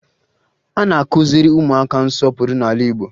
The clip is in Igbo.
A na-akụziri ụmụaka nsọpụrụ n'ala Igbo